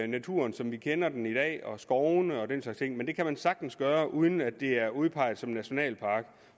naturen som vi kender den i dag og skovene og den slags ting men det kan man sagtens gøre uden at det er udpeget som nationalpark